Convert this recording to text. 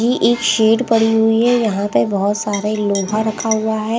ये एक शेड पड़ी हुई हैं यहाँ पे बहुत सारे लोहा रखा हुआ हैं ।